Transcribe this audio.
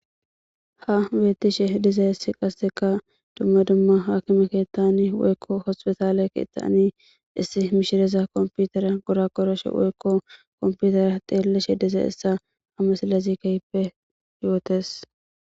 ha betiishshe dizayissi qassekka dumma dumma hakime kettani woykko hospetaale kettani issi mishireza kompitern goragoroshshe woykko kompitera xeellashshe dizayssa ha misillezi ke'hippe yootees